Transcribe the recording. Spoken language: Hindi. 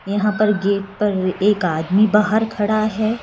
यहां पर गेट पर एक आदमी बाहर खड़ा है।